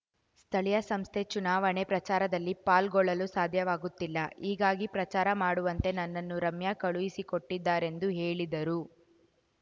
ಸ್ಥಳೀಯ ಸಂಸ್ಥೆ ಚುನಾವಣೆ ಪ್ರಚಾರದಲ್ಲಿ ಪಾಲ್ಗೊಳ್ಳಲು ಸಾಧ್ಯವಾಗುತ್ತಿಲ್ಲ ಹೀಗಾಗಿ ಪ್ರಚಾರ ಮಾಡುವಂತೆ ನನ್ನನ್ನು ರಮ್ಯಾ ಕಳುಹಿಸಿಕೊಟ್ಟಿದ್ದಾರೆಂದು ಹೇಳಿದರು